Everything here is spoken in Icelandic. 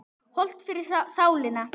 Hollt fyrir sálina.